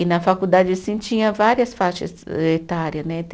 E na faculdade, assim, tinha várias faixas etária, né?